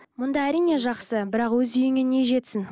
мұнда әрине жақсы бірақ өз үйіңе не жетсін